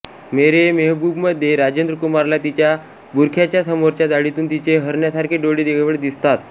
मेरे मेहबूबमध्ये राजेंद्रकुमारला तिच्या बुरख्याच्या समोरच्या जाळीतून तिचे हरणासारखे डोळे केवळ दिसतात